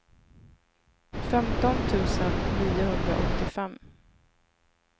femton tusen niohundraåttiofem